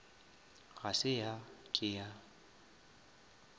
ga se ya ke ya